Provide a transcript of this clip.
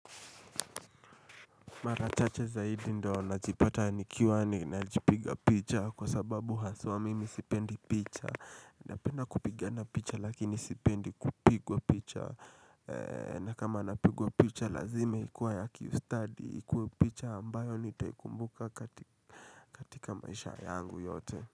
Marachache zaidi ndo na jipata nikiwani na jipiga picha kwa sababu haswa mimi sipendi picha Napenda kupigana picha lakini sipendi kupigwa picha na kama napigwa picha lazime ikuwa ya kiustadi ikuwe picha ambayo nitakumbuka katika maisha yangu yote.